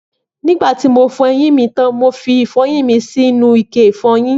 Nígbàtí mo fọ eyín mi tán, mo fi ìfọyín mi sínú ike ìfọyín